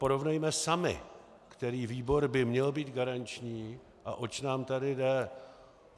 Porovnejme sami, který výbor by měl být garančním a oč nám tady jde.